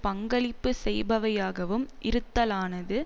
பங்களிப்பு செய்பவையாகவும் இருத்தலானது